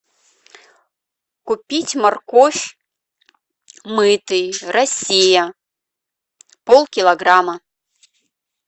купить морковь мытый россия полкилограмма